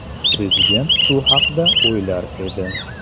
Prezident shu haqda o‘ylar edi.